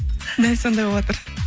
дәл сондай болыватыр